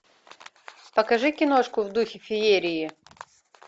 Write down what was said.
покажи киношку в духе феерии